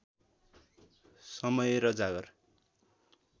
समय र जाँगर